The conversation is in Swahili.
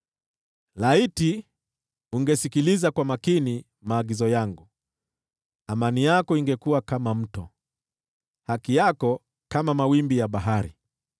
Laiti ungesikiliza kwa makini maagizo yangu, amani yako ingekuwa kama mto, haki yako kama mawimbi ya bahari.